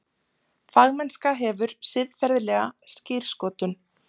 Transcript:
Fagmennska hefur siðferðilega skírskotun.